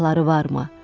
Silahları varmı?